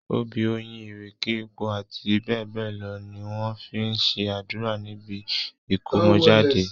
Obì, oyin, ìrèké, epo, àti bẹ́ẹ̀ bẹ́ẹ̀ lọ ni wọ́n fi ń ṣe àdúrà níbi ìkómọjáde.